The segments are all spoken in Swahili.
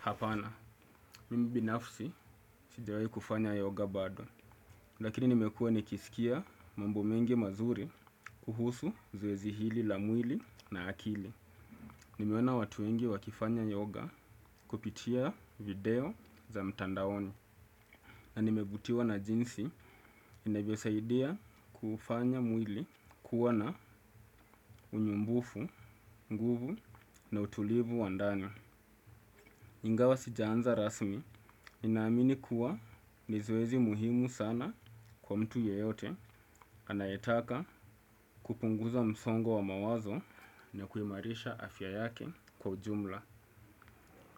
Hapana, mimi binafsi sijiwahi kufanya yoga bado. Lakini nimekuwa nikisikia mambo mengi mazuri kuhusu zoezi hili la mwili na akili. Nimeona watu wengi wakifanya yoga kupitia video za mtandaoni. Na nimevutiwa na jinsi inavyosaidia kufanya mwili kuwa na unyumbufu, nguvu na utulivu wa ndani. Ingawa sijaanza rasmi, ninaamini kuwa ni zoezi muhimu sana kwa mtu yeyote anayetaka kupunguza msongo wa mawazo na kuimarisha afya yake kwa ujumla.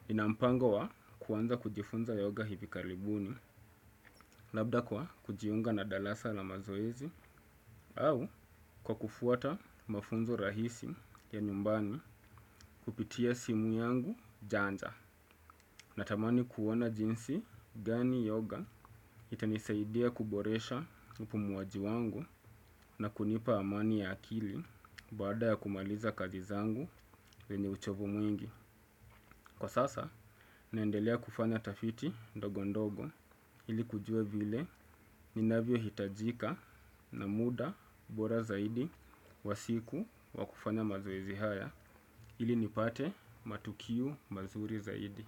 Nina mpango wa kuwanza kujifunza yoga hivi karibuni, labda kwa kujiunga na darasa la mazoezi, au kwa kufuata mafunzo rahisi ya nyumbani kupitia simu yangu janja natamani kuona jinsi gani yoga itanisaidia kuboresha upumuaji wangu na kunipa amani ya akili baada ya kumaliza kazi zangu vyenye uchovu mwingi. Kwa sasa, naendelea kufanya tafiti ndogondogo ili kujua vile ninavyo hitajika na muda bora zaidi wa siku wa kufanya mazoezi haya, ili nipate matokeo mazuri zaidi.